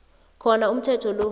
khona umthetho lo